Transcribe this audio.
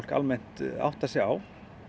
almennt áttar sig á